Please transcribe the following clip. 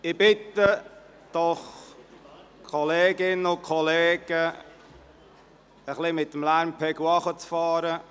Ich bitte Sie, Kolleginnen und Kollegen, mit dem Lärmpegel etwas herunterzufahren.